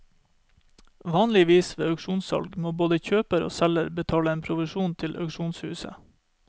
Vanligvis ved auksjonssalg må både kjøper og selger betale en provisjon til auksjonshuset.